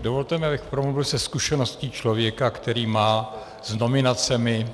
Dovolte mi, abych promluvil ze zkušenosti člověka, který má s nominacemi